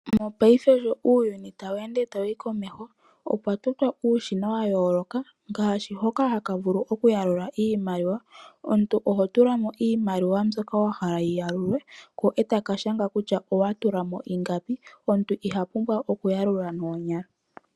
Mopaife sho uuyuni gawu ende ta wuyi komeho, pwa totwa uushina wa yooloka ngaashi hoka ha ka vulu oku ya lula iimaliwa. Omuntu oho tulamo iimaliwa mbyoka wa hala yi ya lulwe, ko etaka shanga kutya kwa tulamo ingapi. Omuntu iha pumbwa oku ya lula noonyala.